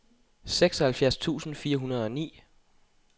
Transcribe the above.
seksoghalvfjerds tusind fire hundrede og ni